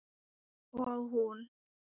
Og hún?